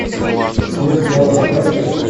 смерть яна показывай